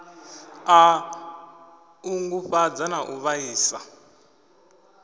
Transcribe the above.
a ṱungufhadza na u vhaisa